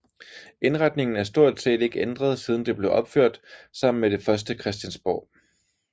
Indretningen er stort set ikke ændret siden det blev opført sammen med det første Christiansborg